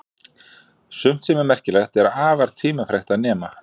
Sumt sem er merkilegt er afar tímafrekt að nema.